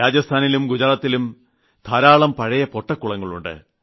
രാജസ്ഥാനിലും ഗുജറാത്തിലും ധാരാളം പഴയ പൊട്ടക്കുളങ്ങൾ ഉണ്ട്